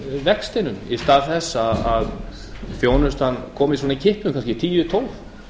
vextinum í stað þess að þjónustan komi svona í kippum kannski tíu eða tólf